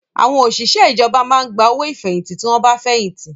Àwọn òṣìṣẹ́ ìjọba máa ń gba owó ìfẹ̀yìntì tí wọ́n bá fẹ̀yìntì